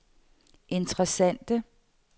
interessante